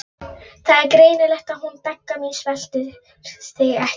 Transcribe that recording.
Það er greinilegt að hún Begga mín sveltir þig ekki.